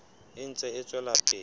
e ntse e tswela pele